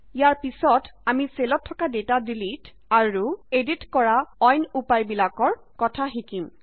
ইয়াৰ পিছত আমি চেলত থকা ডেটা ডিলিট আৰু এডিত কৰা অইন উপায় বিলাকৰ কথা শিকিম